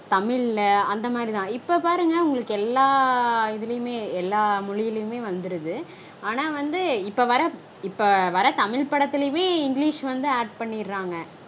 தமிழ்ல்ல அந்த மாதிரிதா. இப்போ பாருங்க உங்களுக்கு எல்லா இதுலையுமே எல்லா மொழிலையுமே வந்துருது. ஆனா வந்து இப்போ வர இப்போ வர தமிழ் படத்துலையுமே English வந்து add பண்ணிடறாங்க